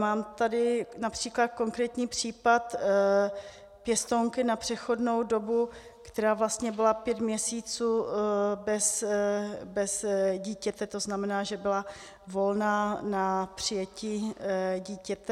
Mám tady například konkrétní případ pěstounky na přechodnou dobu, která vlastně byla pět měsíců bez dítěte, to znamená, že byla volná na přijetí dítěte.